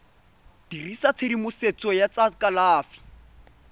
dirisa tshedimosetso ya tsa kalafi